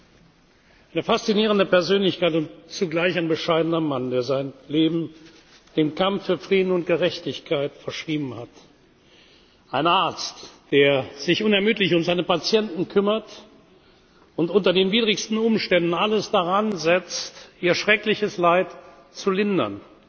Dr. Mukwege. Eine faszinierende Persönlichkeit und zugleich ein bescheidener Mann, der sein Leben dem Kampf für Frieden und Gerechtigkeit verschrieben hat, ein Arzt, der sich unermüdlich um seine Patienten kümmert und unter den widrigsten Umständen alles daran setzt, ihr schreckliches Leid zu lindern.